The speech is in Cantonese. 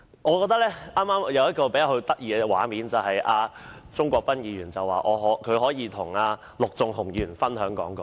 剛才出現一個比較有趣的畫面：鍾國斌議員表示，可以與陸頌雄議員分享講稿。